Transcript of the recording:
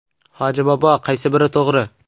Hoji bobo, qaysi biri to‘g‘ri?